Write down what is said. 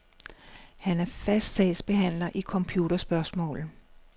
Han er fast sagsbehandler i computerspørgsmål.